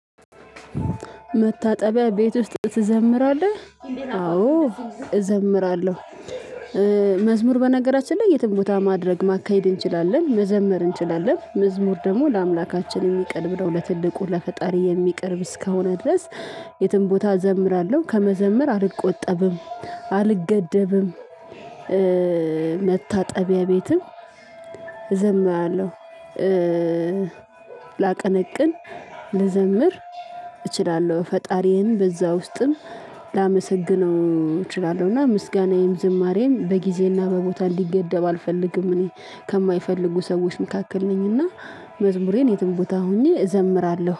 መታጠቢያ ቤት ውስጥ ትዘምራለህ? አዎ እዘምራለሁ። መዝሙር በነገራችን ላይ የትም ቦታ ማድረግ ማካሄድ እንችላለን መዘመር እንችላለን መዝሙር ደግሞ ለአምላካችን የሚቀርብ ነው። ለትልቁ ለፈጣሪ የሚቀርብ እስካሁን ድረስ። የትም ቦታ እዘምራለሁ ከመዘምር አልቆጠብም አልገደብም። መታጠቢያ ቤትም እዘምራለሁ። ላቀነቅን ልዘምር እችላለሁ ፈጣሪዬን በዛ ውስጥም ላመሰግነው እችላለሁ። እና ምስጋናዬም ዝማሬም በጊዜና በቦታ እንዲገደብ አልፈልግም። እኔ ከማይፈልጉ ሰዎች መካከል ነኝና መዝሙሬን የትም ቦታ ሆኜ እዘምራለሁ